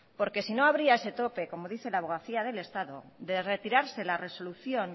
porque si no habría ese tope como dice la abogacía del estado de retirarse la resolución